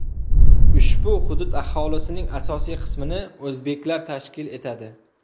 Ushbu hudud aholisining asosiy qismini o‘zbeklar tashkil etadi.